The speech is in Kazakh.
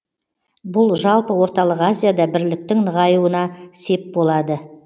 бұл жалпы орталық азияда бірліктің нығаюына сеп болады